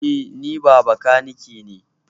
Eh, ni bakanike ne